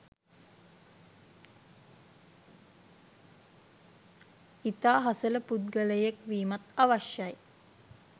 ඉතා හසල පුද්ගලයෙක් වීමත් අවශ්‍යයි.